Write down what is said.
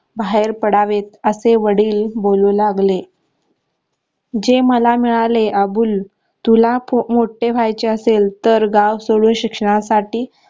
बाहेर पडावेत असे वडील बोलू लागले जे मला मिळाले अबुल तुला मोठे व्हायचे असेल तर गाव सोडून शिक्षणासाठी